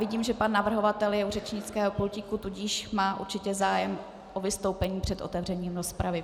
Vidím, že pan navrhovatel je u řečnického pultíku, tudíž má určitě zájem o vystoupení před otevřením rozpravy.